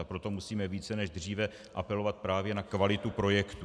A proto musíme více než dříve apelovat právě na kvalitu projektů.